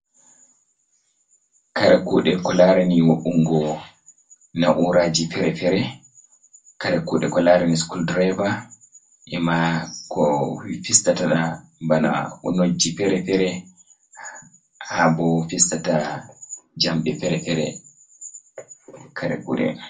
Kare kuuɗe ko laarani wo'’ungo na’uuraaji fere-fere, kare kuuɗe ko laarani sikul direeva, ima ko fistata bana nojji fere-fere, haa bo fistata jamɗe fere-fere, kare kuuɗe.